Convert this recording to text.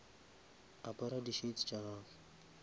apara di shades tša gago